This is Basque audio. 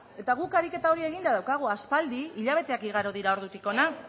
eta guk ariketa hori eginda daukagu aspaldi hilabeteak igaro dira ordutik hona